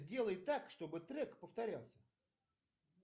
сделай так чтобы трек повторялся